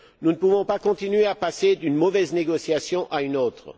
Nous ne pouvons pas continuer à passer d'une mauvaise négociation à une autre.